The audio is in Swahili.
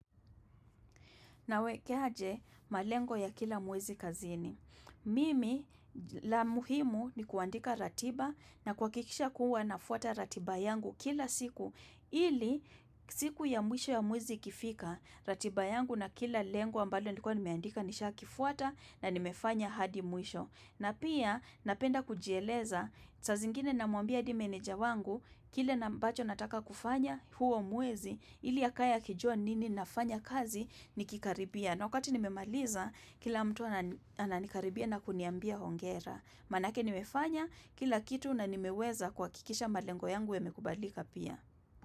Nawekeaje malengo ya kila mwezi kazini. Mimi la muhimu ni kuandika ratiba na kuhakikisha kuwa nafuata ratiba yangu kila siku. Ili siku ya mwisho ya muwezi ikifika. Ratiba yangu na kila lengo ambalo ni kwa nimeandika nisha kifuata na nimefanya hadi mwisho. Na pia napenda kujieleza saa zingine na mwambia di meneja wangu kile na ambacho nataka kufanya huo mwezi. Ili akae akijua nini nafanya kazi ni kikaribia. Na wakati nimemaliza, kila mtu ananikaribia na kuniambia hongera. Manake nimefanya kila kitu na nimeweza kuhakikisha malengo yangu yamekubalika pia.